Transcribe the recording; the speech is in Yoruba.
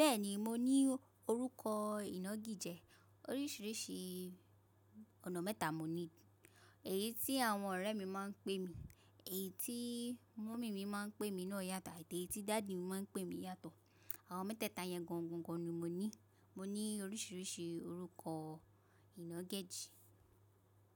Bẹ́ẹ̀ni mo ní orúkọ ìnagijẹ, oríṣiríṣi ọ̀nà mẹ́ta n mo ní. Èyí tí àwọn ọ̀rẹ́ mi máa ń pè mí, èyí tí mommy mi máa ń pè mí náà yàtọ̀ àti èyí tí daddy máa ń pè mí yàtọ̀. Àwọn mẹ́tẹ̀ẹ̀ta yẹn gọ̀ńgọ̀ńgọ̀ń ni mo ní. Mo ní oríṣiríṣi orúkọ ìnagẹ̀jí.